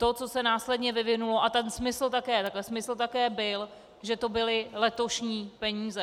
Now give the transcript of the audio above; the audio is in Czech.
To, co se následně vyvinulo - a ten smysl také byl, že to byly letošní peníze.